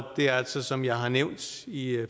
det altså som jeg har nævnt i